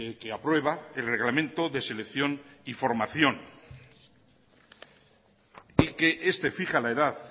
que aprueba el reglamento de selección y formación y que este fija la edad